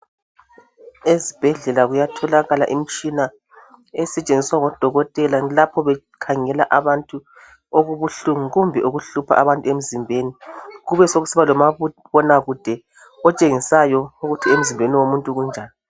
Esibhedlela kuyatholaka imitshina esetshenziswa ngodokotela lapho bekhangela abantu okubuhlungu kumbe okuhlupha abantu emzimbeni kube sokusiba lomabonakude otshengisayo ukuthi emzimbeni womuntu kunjani